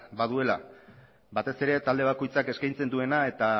baduela batez ere talde bakoitzak eskatzen duena eta